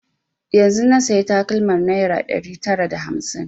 Yanzun na saya takalmar naira ɗari tara da hamsin